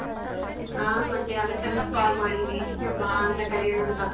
ಹ ಮತ್ತೆ ಅದಿಕ್ಕಂತ call ಮಾಡಿನಿ ಬಾ ಅಂತ ಕರಿಯೋಣ ಅಂತ .